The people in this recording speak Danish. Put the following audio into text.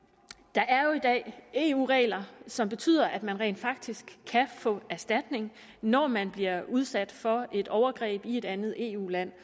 der er jo i dag eu regler som betyder at man rent faktisk kan få erstatning når man bliver udsat for et overgreb i et andet eu land